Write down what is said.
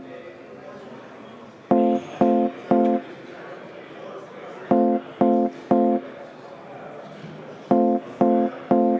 Martin Helme, palun!